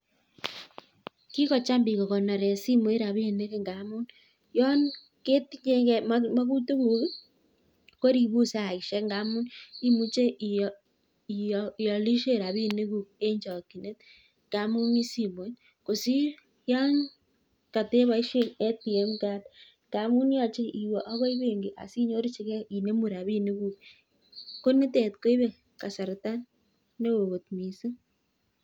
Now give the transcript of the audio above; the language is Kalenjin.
Kikocham biko kokonore simoit rabinik ngaamun yon ketinye makutikuk koribun saishek ngaamun imuche iolishe rabinikuk en chokchinet ngaamun mi simoit kosir yon kateboishe ATM card ngaamun yochei iwe ako benki asinyorchigei inomu rabinikuk ko nitet koibei kasarta ne oo kot mising'